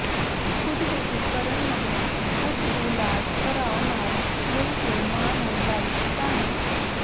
ਖੁਦਕੁਸ਼ੀ ਕਰਨ ਮਗਰੋਂ ਪੁੱਤ ਦੀ ਲਾਸ਼ ਭਰਾ ਨਾਲ ਮਿਲ ਕੇ ਮਾਂ ਨੇ ਲਾਈ ਟਿਕਾਣੇ